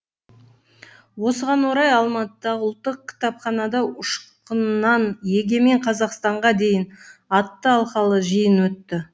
осыған орай алматыдағы ұлттық кітапханада ұшқыннан егемен қазақстанға дейін атты алқалы жиын өтті